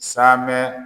Saamɛ